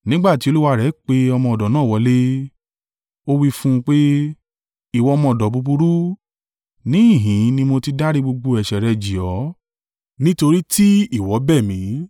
“Nígbà tí olúwa rẹ̀ pè ọmọ ọ̀dọ̀ náà wọlé, ó wí fún un pé, ‘Ìwọ ọmọ ọ̀dọ̀ búburú, níhìn-ín ni mo ti dárí gbogbo gbèsè rẹ jì ọ́ nítorí tí ìwọ bẹ̀ mi.